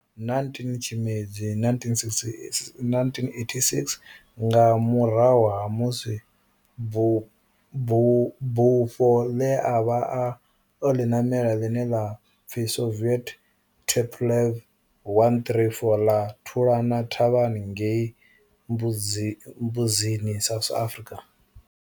19 Tshimedzi 1986 nga murahu ha musi bufho ḽe a vha o ḽi ṋamela, ḽine ḽa pfi Soviet Tupolev 134 ḽa thulana thavhani ngei Mbuzini, South Africa.